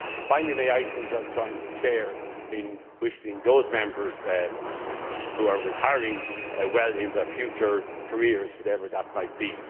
Finally, may I, too, join with the President in wishing those Members who are retiring well in their future careers, whatever they might